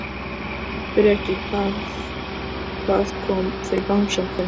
Breki: Hvað, hvað kom fyrir bangsann þinn?